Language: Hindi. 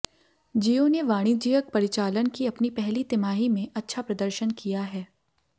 जियो ने वाणिज्यिक परिचालन की अपनी पहली तिमाही में अच्छा प्रदर्शन किया है